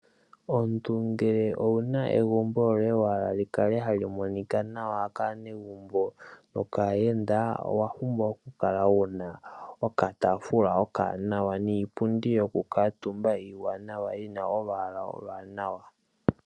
Omuntu ngele owu na egumbo lyoye wa hala li kale hali monika nawa kaanegumbo nokaayenda owa pumbwa okukala wu na okataafula okawanawa niipundi yokukaatumba iiwanawa yi na olwaala oluwanawa.